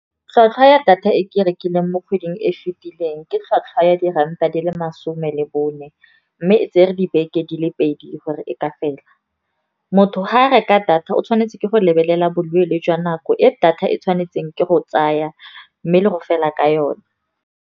Tlhwatlhwa ya data e ke e rekileng mo kgweding e fitileng, ke tlhwatlhwa ya diranta di le masome le bone. Mme e tsere dibeke di le pedi gore e ka fela. Motho ga a reka data o tshwanetse ke go lebelela boleele jwa nako e data e tshwanetseng ke go tsaya, mme le go fela ka yone.